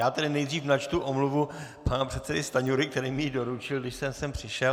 Já tedy nejdřív načtu omluvu pana předsedy Stanjury, který mi ji doručil, když jsem sem přišel.